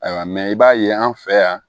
Ayiwa i b'a ye an fɛ yan